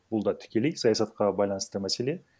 бұл да тікелей саясатқа байланысты мәселе